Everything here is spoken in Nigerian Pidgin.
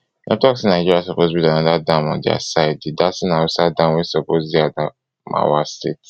dem tok say nigeria suppose build anoda dam on dia side di dasin hausa dam wey suppose dey adamawa state